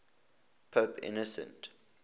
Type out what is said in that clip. pope innocent